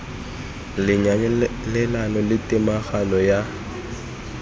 le nyalelano le tomagano ya